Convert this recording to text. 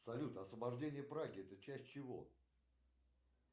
салют освобождение праги это часть чего